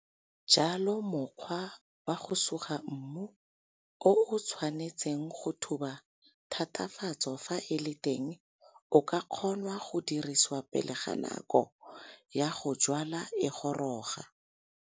Jalo mokgwa wa go suga mmu o o tshwanetseng go thuba thathafatso fa e le teng o ka kgonwa go dirisiwa pele ga nako ya go jwala e goroga.